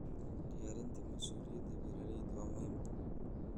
Diyaarinta mas'uuliyadda beeralayda waa muhiim.